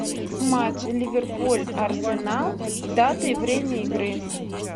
матч ливерпуль арсенал дата и время игры